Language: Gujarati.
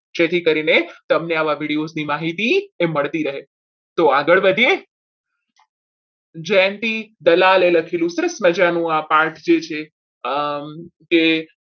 જેથી કરીને તમને આવા videos ની માહિતી મળતી રહે તો આગળ વધીએ જંતી દલાલી લખેલું આ સરસ મજાનું પાઠ છે કે